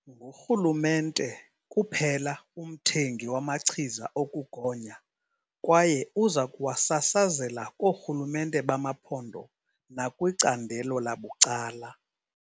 Ngurhulumente kuphela umthengi wamachiza okugonya kwaye uza kuwasasazela koorhulumente bamaphondo nakwicandelo labucala.